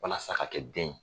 Walasa a ka kɛ den ye.